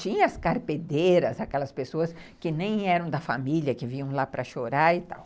Tinha as carpedeiras, aquelas pessoas que nem eram da família, que vinham lá para chorar e